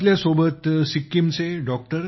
आमच्यासोबत सिक्कीमचे डॉ